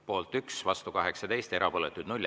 Poolt 1, vastu 18, erapooletuid 0.